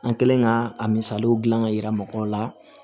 An kɛlen ka a misaliyaw dilan ka yira mɔgɔw la